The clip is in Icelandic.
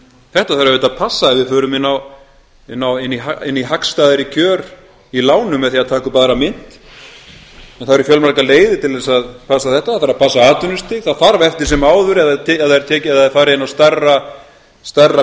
þetta þarf auðvitað að passa ef við förum inn í hagstæðari kjör í lánum með því að taka upp aðra mynt en það eru fjölmargar leiðir til þess að passa þetta það þarf að passa atvinnustig það þarf eftir sem áður ef það er farið inn á stærra